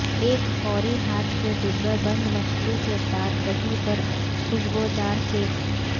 ایک فوری ہاتھ کے ڈبہ بند مچھلی کے ساتھ دہی پر خوشبودار کیک